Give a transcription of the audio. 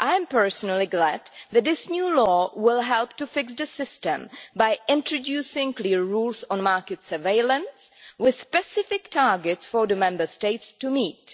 Personally, I am glad that this new law will help to fix the system by introducing clear rules on market surveillance, with specific targets for the Member States to meet.